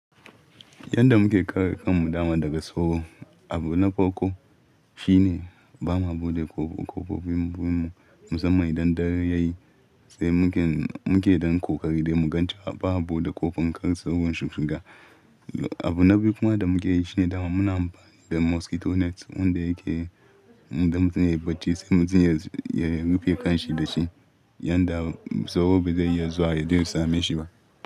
Yanda muke kare kanmu dama daga soro, abu na farko shine ba ma bude ƙofa. Ƙofofi mu musamman idan dare yayi sai muke, muke don ko kari dai mugan cewa ba a bude ƙofar kar soron su shig Abu na biyu kuma da muke yi shine dama muna amfani da mosquito nets wanda yake, inda mutum yayi bacci sai mutum yayi, ya rufe kanshi da shi yanda soro bai zai iya zuwa ya je ya same shi ba.